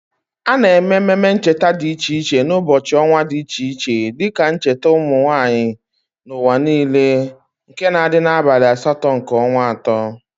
Ana eme ememe ncheta di iche iche n'ubochi onwa di iche iche dike njeta umunwanyi n"uwa niile nke na adi n"abali asto nke onwa ato.